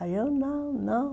Aí eu, não, não.